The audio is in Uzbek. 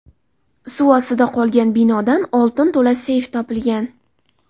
Suv ostida qolgan binodan oltin to‘la seyf topilgan.